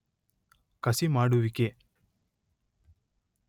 ಕಸಿ ಮಾಡುವಿಕೆ